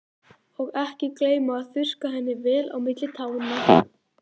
Og ekki gleyma að þurrka henni vel á milli tánna.